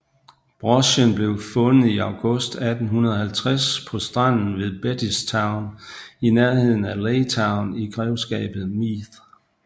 Brochen blev fundet i august 1850 på stranden ved Bettystown i nærheden af Laytown i grevskabet Meath